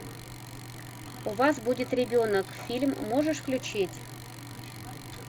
у вас будет ребенок фильм можешь включить